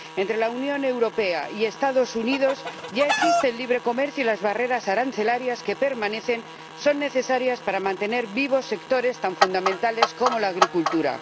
Entre la Unión Europea y los Estados Unidos ya existe el libre comercio, y las barreras arancelarias que permanecen son necesarias para mantener vivos sectores tan fundamentales como la agricultura.